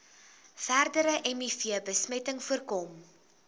verdere mivbesmetting voorkom